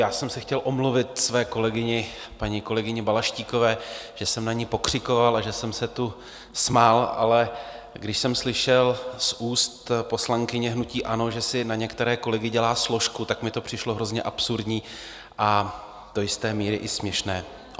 Já jsem se chtěl omluvit své kolegyni, paní kolegyni Balaštíkové, že jsem na ni pokřikoval a že jsem se tu smál, ale když jsem slyšel z úst poslankyně hnutí ANO, že si na některé kolegy dělá složku, tak mi to přišlo hrozně absurdní a do jisté míry i směšné.